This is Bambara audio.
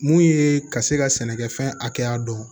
Mun ye ka se ka sɛnɛkɛfɛn hakɛya dɔn